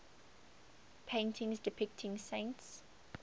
paintings depicting saints